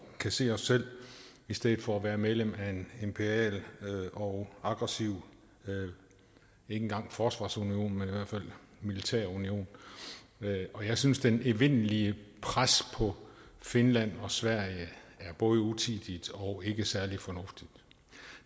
kan se os selv i stedet for at være medlem af en imperial og aggressiv ikke engang forsvarsunion men militær union og jeg synes det evindelige pres på finland og sverige er både utidigt og ikke særlig fornuftigt